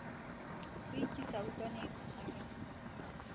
ho ikisa ntlwaneng erekaha a